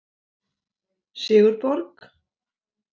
Sigurborg